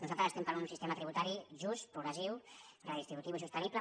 nosaltres estem per un sistema tributari just progressiu redistributiu i sostenible